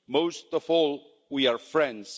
Most of all we are friends.